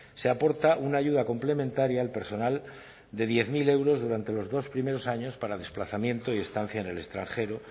se aporta una ayuda complementaria al personal de diez mil euros durante los dos primeros años para desplazamiento y estancia en el extranjero